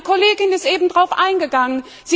Meine Kollegin ist eben darauf eingegangen.